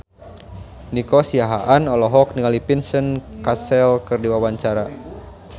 Nico Siahaan olohok ningali Vincent Cassel keur diwawancara